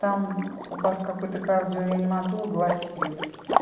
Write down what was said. там у вас какой-то кардиореаниматолог васильев